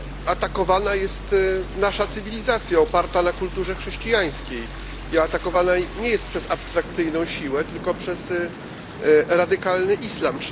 Atakowana jest nasza cywilizacja oparta na kulturze chrześcijańskiej i atakowana nie jest przez abstrakcyjną siłę, tylko przez radykalny islam.